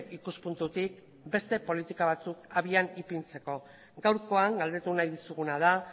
ikuspuntutik beste politika batzuk abian ipintzeko gaurkoan galdetu nahi dizuguna da